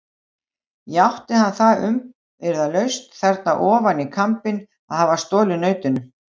Játti hann það umyrðalaust þarna ofan í kambinn að hafa stolið nautinu.